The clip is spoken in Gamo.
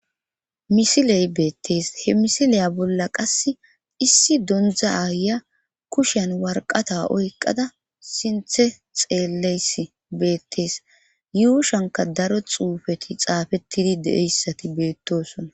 Misiley beettees he misileya bolla qasse issi dondza aya kushen warqata oyqada sinthe xeelleys beettees yuushanka daro xuufeti xaafettidi deeyssati beettosona